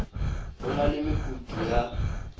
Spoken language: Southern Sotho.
ho na le mekutu ya